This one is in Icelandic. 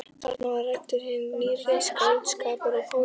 Þarna var ræddur hinn nýrri skáldskapur og pólitík.